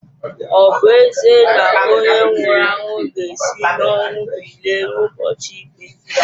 Ọ̀ bu ezie na onye nwuru anwu ga esi n'ọnwu bilie n'ubọchi ikpé?